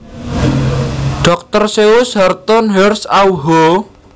Dr Seuss Horton Hears a Who